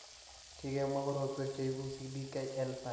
Kikemwa korotwek cheibu CDKL5 eng' tibik.